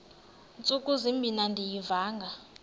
ntsuku zimbin andiyivanga